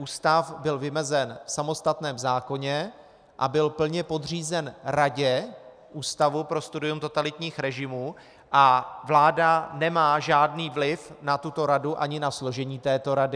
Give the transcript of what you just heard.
Ústav byl vymezen v samostatném zákoně a byl plně podřízen radě Ústavu pro studium totalitních režimů a vláda nemá žádný vliv na tuto radu ani na složení této rady.